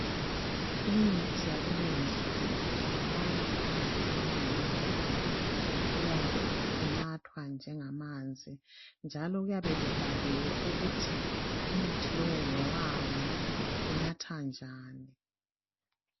Imithi yakulezi insukuku, itholakala phakathi kwamambodlela, iyabe inathwa njengamanzi, njalo kuyabe kubhaliwe ukuthi umuthi lo ngowani. Unathwa njani?